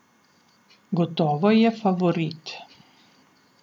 Gotovo je favorit.